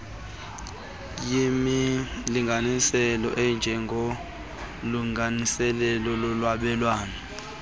yimilinganiselo enjengolungiselelo lolwabelwano